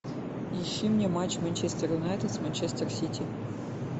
ищи мне матч манчестер юнайтед с манчестер сити